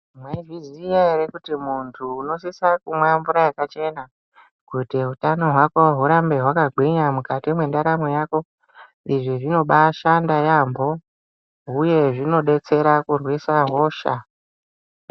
Mwaizviya ere kuti muntu unosisa mumwe mvura yakachena kuti utano hwako hurambe hwakagwinya mukati mwendaramo yako. Izvi zvinombaa shanda yampho uye zvinodetsera kurwisa hosha.